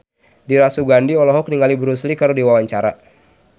Dira Sugandi olohok ningali Bruce Lee keur diwawancara